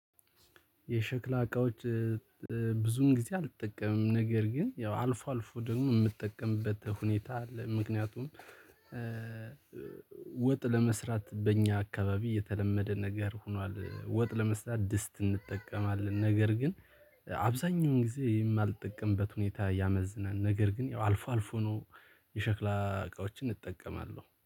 የሸክላ እቃዎች ብዙም ጊዜ አልጠቀምም ነገር ግን ያው አልፎ አልፎ ደግሞ የምትጠቀምበት ሁኔታ አለ። ምክንያቱም ወጥ ለመስራት በእኛ አካባቢ የተለመደ ነገር ሆኗል ወጥ ለመስራት ድስት እንጠቀማለን። ነገር ግን አብዛኛውን ጊዜ የማልጠቀምበት ሁኔታ ያመዝናል። ነገር ግን ያው አልፎ አልፎ ነው የሸክላ እቃዎችን እጠቀማለሁ